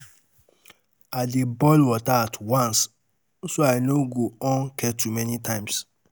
I dey boil plenty water at um once, so I um no go on kettle many times.